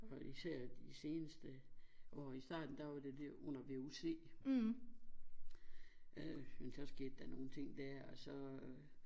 Og især de seneste år i starten der var det der under vuc øh men så skete der nogle ting der og så øh